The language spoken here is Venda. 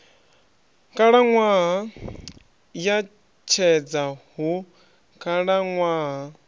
khalaṅwaha ya tshedza hu khalaṅwaha